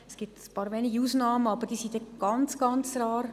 Es gibt ein paar wenige Ausnahmen, aber diese sind wirklich ganz rar.